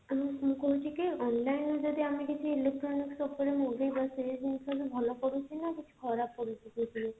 ମୁଁ କଣ କହୁଛି କି online ରୁ ଯଦି ଆମେ କିଛି electronics ଉପରେ ମଗେଇବା ସେ ଜିନିଷ ବି ଭଲ ପଡୁଛି ନା କିଛି ଖରାପ ପଡୁଛି ତାଧିରେ